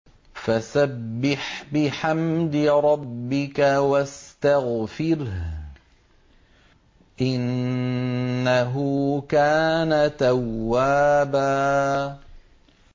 فَسَبِّحْ بِحَمْدِ رَبِّكَ وَاسْتَغْفِرْهُ ۚ إِنَّهُ كَانَ تَوَّابًا